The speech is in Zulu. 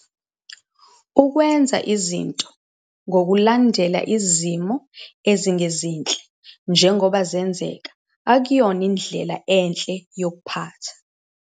Ukwenza izinto ngokulandela izimo ezingezinhle njengoba zenzeka akuyona indlela enhle yokuphatha.